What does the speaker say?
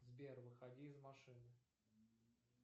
сбер выходи из машины